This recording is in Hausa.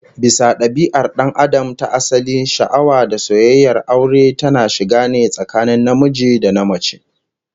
Bisa dabia'ar dan Adam ta asali, sha'awa da soyayyar aure tana shiga ne tsakanin namiji da namace